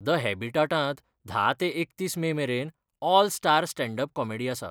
The हॅबिटाटांत धा ते एकतीस मे मेरेन 'all star stand up comedy' आसा.